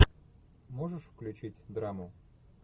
можешь включить драму